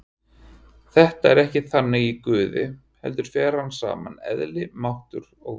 Þetta er ekki þannig í Guði heldur fer þar saman eðli, máttur og vilji.